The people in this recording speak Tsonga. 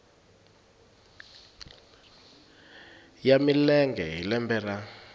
ya milenge hi lembe ra